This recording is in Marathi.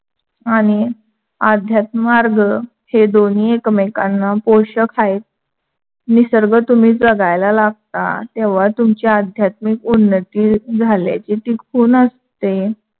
आणि आध्यात मार्ग हे दोन्‍ही एकमेकांना पोषक हाय. निसर्ग तुम्ही जगायला लागता, तेव्हा तुमची आध्यात्मिक उन्नती झाल्याची ती खून असते.